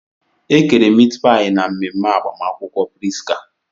E kere mit pai na mmemme agbamakwụkwọ Prisca.